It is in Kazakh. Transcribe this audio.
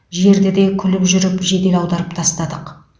жерді де күліп жүріп жедел аударып тастадық